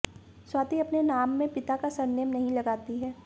स्वाति अपने नाम में पिता का सरनेम नहीं लगाती हैं